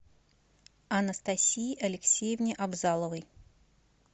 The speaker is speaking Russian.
анастасии алексеевне абзаловой